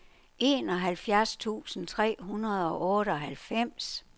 enoghalvfjerds tusind tre hundrede og otteoghalvfems